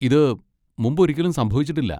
ഇത് മുമ്പൊരിക്കലും സംഭവിച്ചിട്ടില്ല.